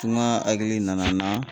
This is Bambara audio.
Tungan hakili nana n na